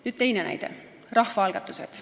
Nüüd teine näide, rahvaalgatused.